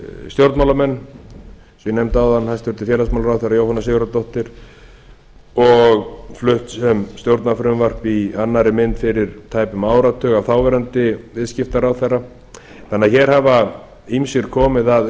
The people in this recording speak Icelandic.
stjórnmálamenn og eins og ég nefndi áðan hæstvirtur félagsmálaráðherra jóhanna sigurðardóttir og flutt um stjórnarfrumvarp í annarri mynd fyrir tæpum áratug af þáverandi viðskiptaráðherra þannig að hér hafa ýmsir komið að